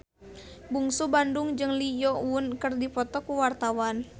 Bungsu Bandung jeung Lee Yo Won keur dipoto ku wartawan